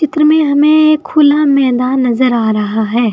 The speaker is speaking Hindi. चित्र में हमें एक खुला मैदान नजर आ रहा है।